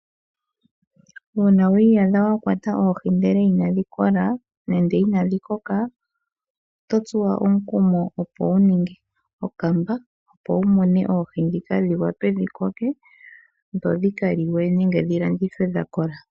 Uuna wiiyadha wakwata oohi ndele inadhi kola nenge inadhi koka oto tsuwa omukumo opo wu ninge okamba opo wu mune oohi dhika dhikoke dho dhi ka liwe nenge dhi landithwe dhakola.